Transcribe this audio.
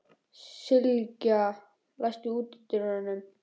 Sylgja, læstu útidyrunum.